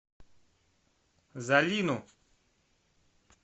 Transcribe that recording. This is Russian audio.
залину